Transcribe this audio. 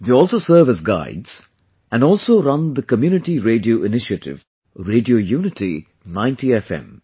They also serve as guides, and also run the Community Radio Initiative, Radio Unity 90 FM